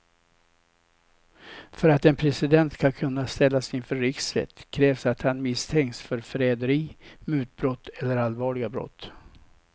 För att en president ska kunna ställas inför riksrätt krävs att han misstänks för förräderi, mutbrott eller allvarliga brott.